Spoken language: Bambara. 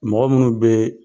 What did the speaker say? Mɔgɔ minnu bɛ